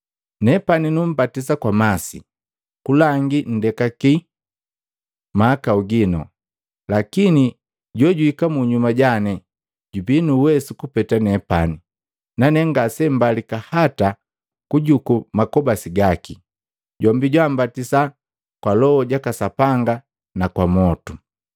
Nepani numbatisa kwa masi kulangi nndekaki mahakau gino. Lakini jojuhika munyuma jane jubii nu uwesu kupeta nepani, nane ngasembalika hata kujuku makobasi gaki. Jombi jambatisa kwa Loho jaka Sapanga na kwa mwotu.